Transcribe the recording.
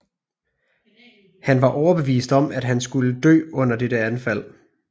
Han var overbevist om at han skulle dø under dette anfald